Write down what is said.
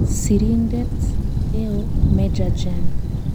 Sirindeet eoo-Meja Jen